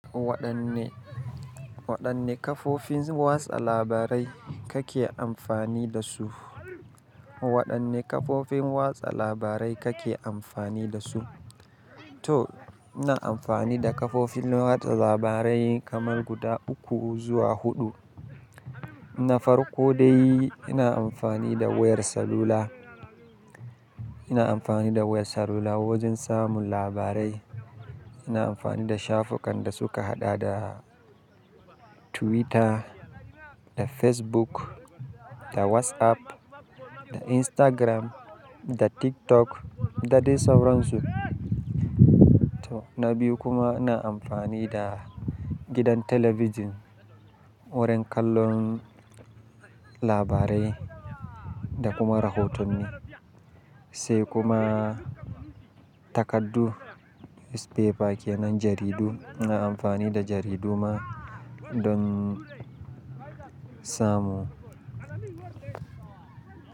Waɗanne, waɗanne kafofin watsa labarai kake amfani da su? Waɗanne kafofin watsa labarai kake amfani da su? To, ina amfani da kafofin watsa labarai kamar guda uku zuwa huɗu. Na farko dai ina amfani da wayar salula. Ina amfani da wayar salula wajen samun labarai. Ina amfani da shafukan da suka haɗa da Twitter, da Facebook, da WhatsApp, da Instagram, da TikTok, da dai sauransu. To, na biyu kuma ina amfani da gidan talabijin wurin kallon labarai da kuma rahotanni. Sai kuma takardu, newspaper, ke nan jaridu. Ina amfani da jaridu ma, don samun,